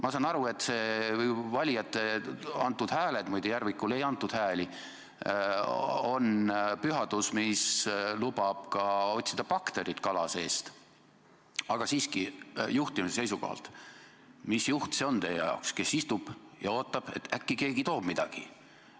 Ma saan aru, et valijate antud hääled – muide, Järvikule ei antud hääli – on pühadus, mis lubab ka kala seest baktereid otsida, aga juhtimise seisukohalt: mis juht see teie arvates on, kes istub ja ootab, et äkki keegi toob talle midagi?